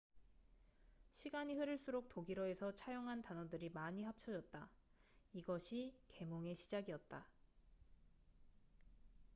시간이 흐를수록 독일어에서 차용한 단어들이 많이 합쳐졌다 이것이 계몽의 시작이었다